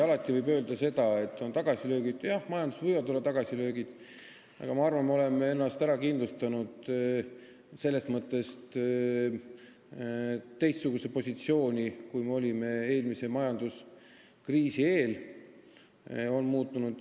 Alati võib öelda, et on tagasilööke – jah, majanduses võivad olla tagasilöögid –, aga ma arvan, et me oleme endale kindlustanud teistsuguse positsiooni, kui oli eelmise majanduskriisi eel.